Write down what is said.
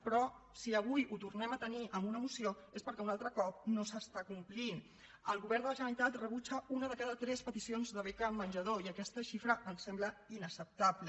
però si avui ho tornem a tenir en una moció és perquè un altre cop no s’està complint el govern de la generalitat rebutja una de cada tres peticions de beca menjador i aquesta xifra ens sembla inacceptable